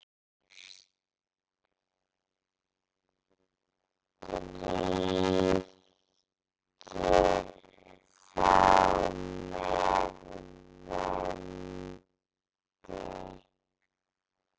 og strýkir þá með vendi.